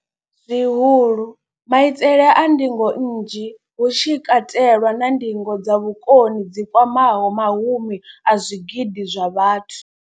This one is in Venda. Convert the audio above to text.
Zwihulu, maitele a ndingo nnzhi, hu tshi katelwa na ndingo dza vhukoni dzi kwamaho mahumi a zwigidi zwa vhathu.